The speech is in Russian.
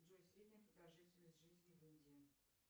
джой средняя продолжительность жизни в индии